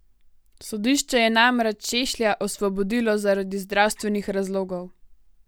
Sodišče je namreč Šešlja osvobodilo zaradi zdravstvenih razlogov.